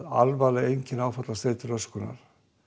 alvarleg einkenni áfallastreitu röskunar